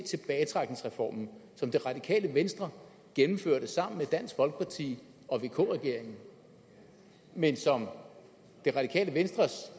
tilbagetrækningsreformen som det radikale venstre gennemførte sammen med dansk folkeparti og vk regeringen men som det radikale venstres